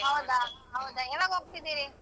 ಹೌದಾ ಹೌದಾ ಯವಾಗ್ ಹೋಗ್ತಿದಿರಿ?